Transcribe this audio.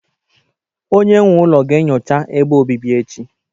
Onye nwe ụlọ ga-enyocha ebe obibi echi